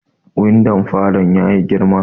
Windon falo ya yi girma